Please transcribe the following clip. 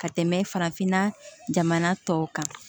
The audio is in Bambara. Ka tɛmɛ farafinna jamana tɔw kan